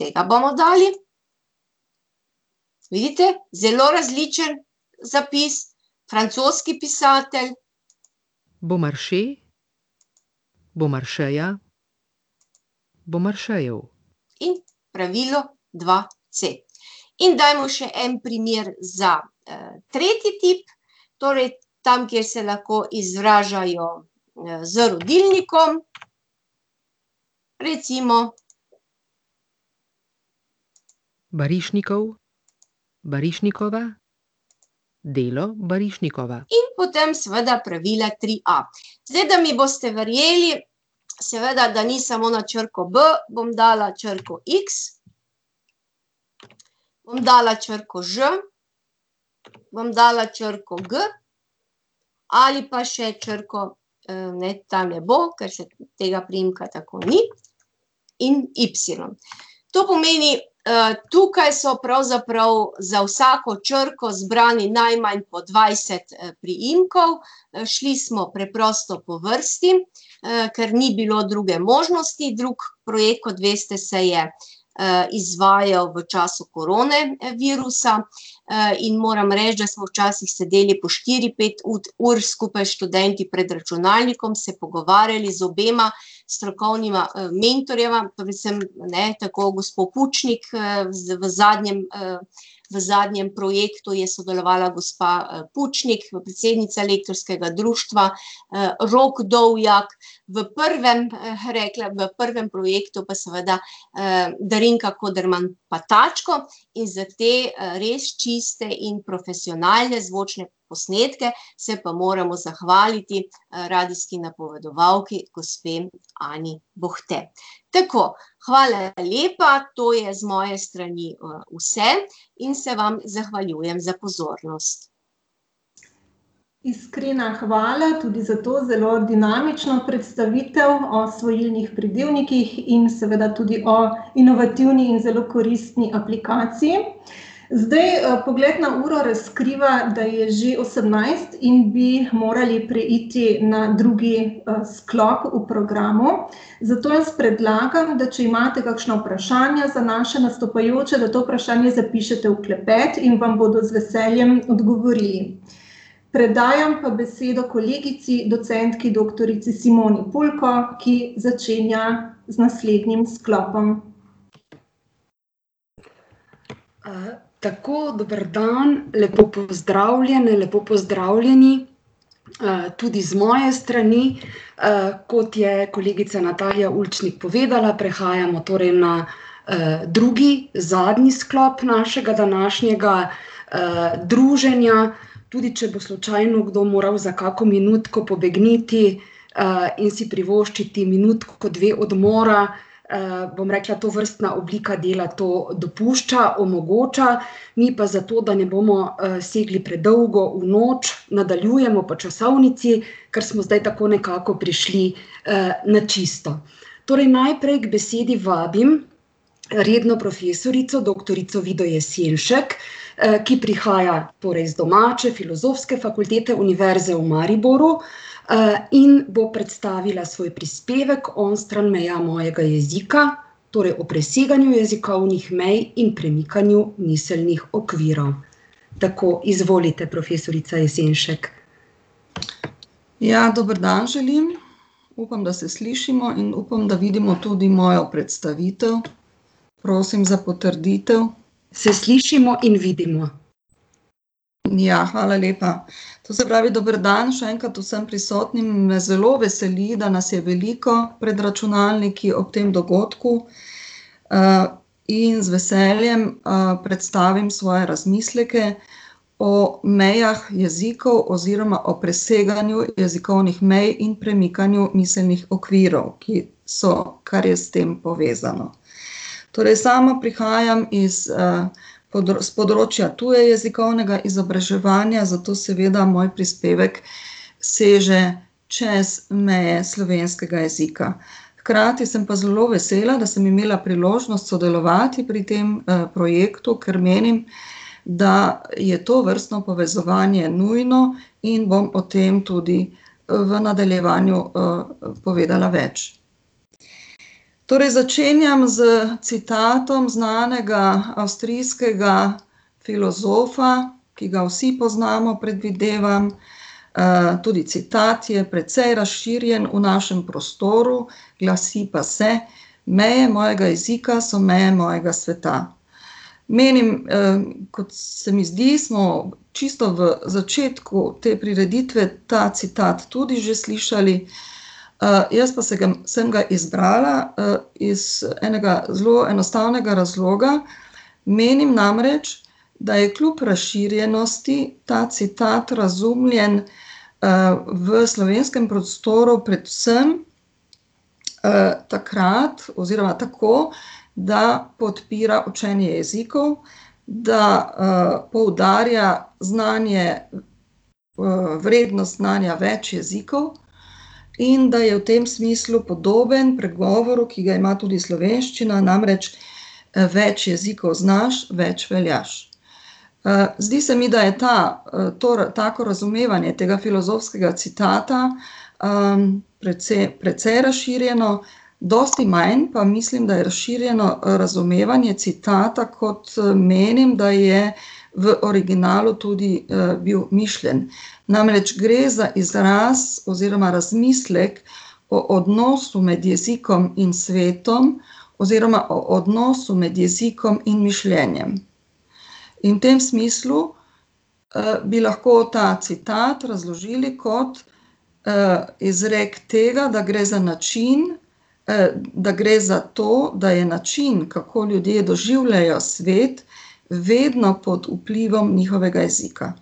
tega bomo dali. Vidite, zelo različen zapis. Francoski pisatelj. In pravilo dva c. In dajmo še en primer za, tretji tip. Torej tam, kjer se lahko izražajo, z rodilnikom. Recimo ... In potem seveda pravila tri a. Zdaj, da mi boste verjeli, seveda da ni samo na črko b, bom dala na črko iks. Bom dala črko ž. Bom dala črko g. Ali pa še črko, ne, ta ne bo, ker tega priimka tako ni. In ipsilon. To pomeni, tukaj so pravzaprav za vsako črko zbrani najmanj po dvajset priimkov. Šli smo preprosto po vrsti, ker ni bilo druge možnosti, drugi projekt, kot veste, se je izvajal v času koronavirusa, in moram reči, da smo včasih sedeli po štiri, pet ur skupaj s študenti pred računalnikom, se pogovarjali z obema strokovnima, mentorjema, predvsem, ne, tako gospo Kučnik, v zadnjem, v zadnjem projektu je sodelovala gospa Kučnik, predsednica Lektorskega društva, Rok Dovjak, v prvem, rekla, v prvem projektu pa seveda, Darinka Koderman Patačko in za te, res čiste in profesionalne zvočne posnetke se pa moramo zahvaliti, radijski napovedovalki, gospe Ani Bohte. Tako. Hvala lepa, to je z moje strani, vse in se vam zahvaljujem za pozornost. Iskrena hvala tudi za to zelo dinamično predstavitev o svojilnih pridevnikih in seveda tudi o inovativni in zelo koristni aplikaciji. Zdaj, pogled na uro razkriva, da je že osemnajst in bi morali preiti na drugi sklop v programu. Zato jaz predlagam, da če imate kakšna vprašanja za naše nastopajoče, da to vprašanje zapišete v klepet in vam bodo z veseljem odgovorili. Predajam pa besedo kolegici, docentki doktorici Simoni Pulko, ki začenja z naslednjim sklopom. tako, dober dan, lepo pozdravljene, lepo pozdravljeni, tudi z moje strani. kot je kolegica Natalija Ulčnik povedala, prehajamo torej na, drugi, zadnji sklop našega današnjega, druženja. Tudi če bo slučajno kdo moral za kakšno minutko pobegniti, in si privoščiti minutko, dve odmora, bom rekla, tovrstna oblika dela to dopušča, omogoča mi pa, zato da ne bomo, segli predolgo v noč, nadaljujemo po časovnici, ker smo zdaj nekako prišli, na čisto. Torej najprej k besedi vabim redno profesorico doktorico Vido Jesenšek, ki prihaja torej z domače Filozofske fakultete Univerze v Mariboru, in bo predstavila svoj prispevek Onstran meja mojega jezika. Torej o preseganju jezikovnih mej in premikanju miselnih okvirov. Tako, izvolite, profesorica Jesenšek. Ja, dober dan želim. Upam, da se slišimo, in upam, da vidimo tudi mojo predstavitev. Prosim za potrditev. Se slišimo in vidimo. Ja, hvala lepa. To se pravi, dober dan še enkrat vsem prisotnim, me zelo veseli, da nas je veliko pred računalniki ob tem dogodku. in z veseljem, predstavim svoje razmisleke o mejah jezikov oziroma o preseganju jezikovnih mej in premikanju miselnih okvirov, ki so, kar je s tem povezano. Torej sama prihajam iz, s področja tujejezikovnega izobraževanja, zato seveda moj prispevek seže čez meje slovenskega jezika. Hkrati sem pa zelo vesela, da sem imela priložnost sodelovati pri tem, projektu, ker menim, da je tovrstno povezovanje nujno, in bom o tem tudi, v nadaljevanju, povedala več. Torej začenjam s citatom znanega avstrijskega filozofa, ki ga vsi poznamo, predvidevam, tudi citat je precej razširjen v našem prostoru, glasi pa se: "Meje mojega jezika so meje mojega sveta." Menim, kot se mi zdi, smo čisto v začetku te prireditve ta citat tudi že slišali, jaz pa se ga, sem ga izbrala, iz enega zelo enostavnega razloga, menim namreč, da je kljub razširjenosti ta citat razumljen, v slovenskem prostoru predvsem, takrat oziroma tako, da podpira učenje jezikov, da, poudarja znanje, vrednost znanja več jezikov in da je v tem smislu podoben pregovoru, ki ga ima tudi slovenščina, namreč: več jezikov znaš, več veljaš." zdi se mi, da je ta, to, tako razumevanje tega filozofskega citata, precej razširjeno, dosti manj pa mislim, da je razširjeno razumevanje citata, kot, menim, da je v originalu tudi bil mišljen. Namreč gre za izraz oziroma razmislek o odnosu med jezikom in svetom oziroma o odnosu med jezikom in mišljenjem. In v tem smislu, bi lahko ta citat razložili kot, izrek tega, da gre za način, da gre za to, da je način, kako ljudje doživljajo svet, vedno pod vplivom njihovega jezika.